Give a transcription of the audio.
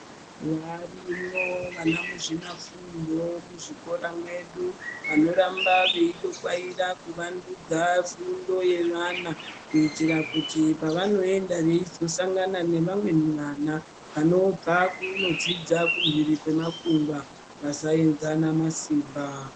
Varimo vana muzvinafundo muzvikora medu vanoramba veyidokwaira kuvandudza fundo yevana kuitira kuti pavanoyenda veyizosangana nevamwe vana vanobva kunodzidza kumhiri kwemakungwa vasayenzana masimba.